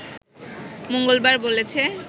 মঙ্গলবার বলেছে